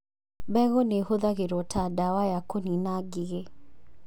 Mbegũ nĩ ihũthagĩrũo ta ndawa ya kũniina ngigĩ